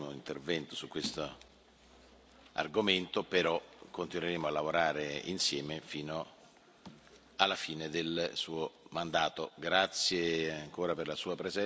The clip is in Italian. la collaborazione, anche se questo era il Suo ultimo intervento su questo argomento, però continueremo a lavorare insieme fino alla fine del Suo mandato.